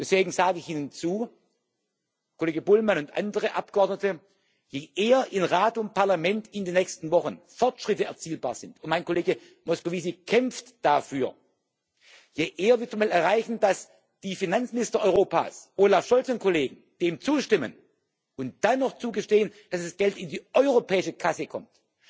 Deswegen sage ich Ihnen zu, Kollege Bullmann und andere Abgeordnete Je eher in Rat und Parlament in den nächsten Wochen Fortschritte erzielbar sind und mein Kollege Moscovici kämpft dafür desto eher würde man erreichen, dass die Finanzminister Europas Olaf Scholz und Kollegen dem zustimmen und dann noch zugestehen, dass das Geld in die europäische Kasse kommt.